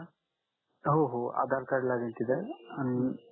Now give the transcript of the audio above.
हो हो आधार कार्ड लागेल तित